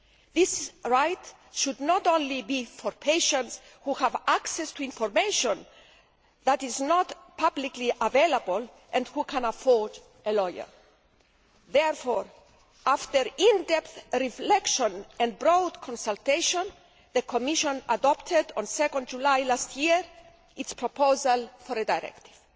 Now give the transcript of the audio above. This right should not only be for patients who have access to information that is not publicly available and who can afford a lawyer. Therefore, after in depth reflection and broad consultation, the Commission adopted, on 2 July last year, its proposal for a directive.